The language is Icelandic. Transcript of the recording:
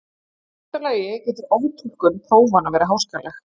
í fyrsta lagi getur oftúlkun prófanna verið háskaleg